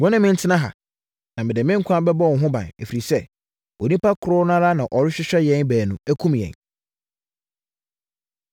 Wo ne me ntena ha, na mede me nkwa bɛbɔ wo ho ban, ɛfiri sɛ, onipa korɔ no ara na ɔrehwehwɛ yɛn baanu akum yɛn.”